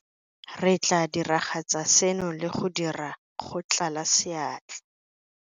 Re tla diragatsa seno le go dira go tlala seatla.